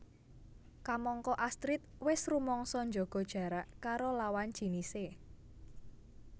Kamangka Astrid wis rumangsa njaga jarak karo lawan jinisé